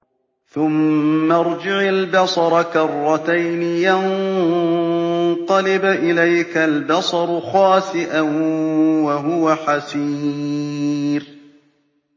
ثُمَّ ارْجِعِ الْبَصَرَ كَرَّتَيْنِ يَنقَلِبْ إِلَيْكَ الْبَصَرُ خَاسِئًا وَهُوَ حَسِيرٌ